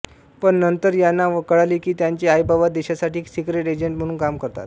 पण नंतर यांना कळाले की त्यांचे आईबाबा देशासाठी सिक्रेट एजंट म्हणुन काम करतात